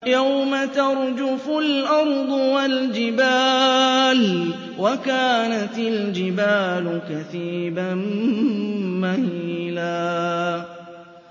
يَوْمَ تَرْجُفُ الْأَرْضُ وَالْجِبَالُ وَكَانَتِ الْجِبَالُ كَثِيبًا مَّهِيلًا